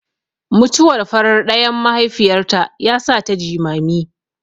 Mutuwar farar ɗayan mahaifiyarta yasata jimami.